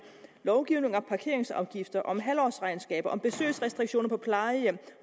lovgivning om parkeringsafgifter om halvårsregnskaber om besøgsrestriktioner på plejehjem